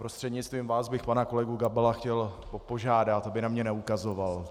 Prostřednictvím vás bych pana kolegu Gabala chtěl požádat, aby na mě neukazoval.